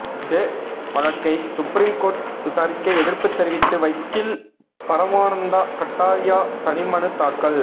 ஜெ வழக்கை supreme court விசாரிக்க எதிர்ப்பு தெரிவித்து வக்கீல் பரமானந்தா கட்டாரியா தனி மனு தாக்கல்